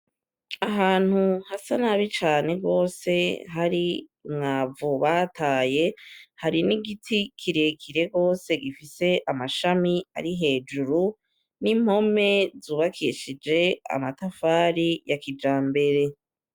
Ahantu hasa nabi cane rwose hari mwavu bataye hari n'igiti kirekire rose gifise amashami ari hejuru n'impome zubakishije amatafari ya kija mbere.